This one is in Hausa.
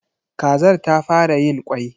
Kazar ta fara yin kwai.